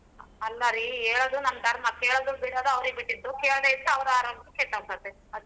ಅಲ್ಲಾರೀ ಹೇಳೋದು ನಮ್ ದರ್ಮಾ ಕೇಳೊದು ಬಿಡೋದು ಅವ್ರೀಗ್ ಬಿಟ್ಟಿದ್ದು ಕೇಳ್ದೆ ಇದ್ರೆ ಅವ್ರ ಆರೋಗ್ಯ ಕೆಟ್ಟೋಗತ್ತೆ ಅಸ್ಟೆ.